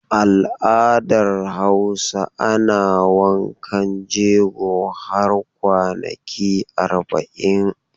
Al'adar Hausa ana wankan jego har kwanaki arba'in.